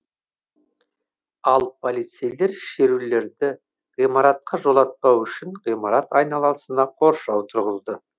ал полицейлер шерушілерді ғимаратқа жолатпау үшін ғимарат айналасына қоршау тұрғызды